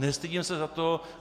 Nestydím se za to.